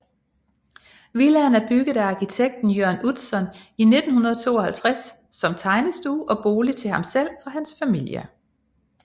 Villaen er bygget af arkitekten Jørn Utzon i 1952 som tegnestue og bolig til ham selv og hans familie